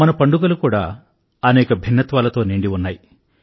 మన పండుగలు కూడా అనేక భిన్నత్వాలతో నిండి ఉన్నాయి